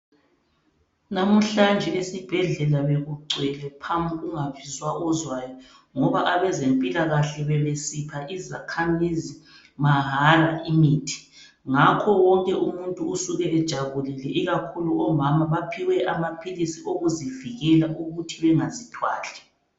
Lamuhlanje esibhedlela bekugcwele phamu kungabizwa ozwayo ngoba abezempilakahle bebesipha izakhamizi mahala imithi. Ngakho wonke umuntu usuke ejabulile ikakhulu omama baphiwe amaphilisi okuzivikela ukuthi bengazithwali.